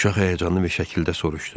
Uşaq həyəcanlı bir şəkildə soruşdu: